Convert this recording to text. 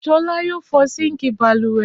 Ṣọlá yóò fọ síńkì balùwẹ̀.